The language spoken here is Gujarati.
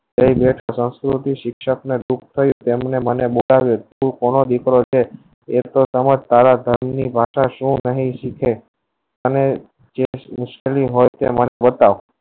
શિક્ષક ને દુખ થયું તેમને મને બતાવ્યું તું કોનો દીકરો છે એટલે સારા ની પાછળ શું તમે અને જે મુશ્કેલી હોય તે મને બતાવ